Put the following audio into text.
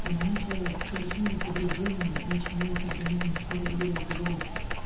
они же совершенно по другому начинает организм на всё реагировать и бороться